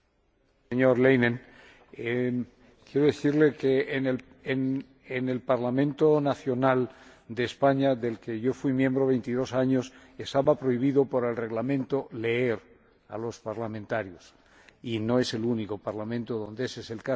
Señor Leinen, quiero decirle que en el Parlamento nacional de España, del que yo fui miembro 22 años, estaba prohibido por el Reglamento leer a los parlamentarios, y no es el único Parlamento donde ese es el caso.